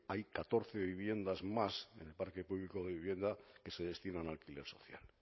hay catorce viviendas más del parque público de vivienda que se destinan a alquiler social